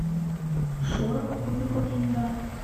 шорох кубиков льда